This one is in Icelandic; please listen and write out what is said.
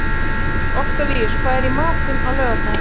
Oktavíus, hvað er í matinn á laugardaginn?